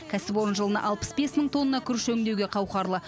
кәсіпорын жылына алпыс бес мың тонна күріш өңдеуге қауқарлы